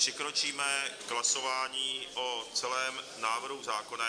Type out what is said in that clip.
Přikročíme k hlasování o celém návrhu zákona.